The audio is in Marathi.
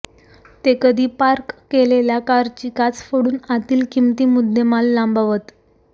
ते कधी पार्क केलेल्या कारची काच फोडून आतील किमती मुद्देमाल लांबवतात